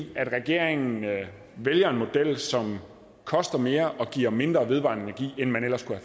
at regeringen vælger en model som koster mere og giver mindre vedvarende energi end man ellers kunne